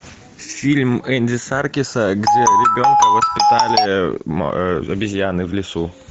фильм энди серкиса где ребенка воспитали обезьяны в лесу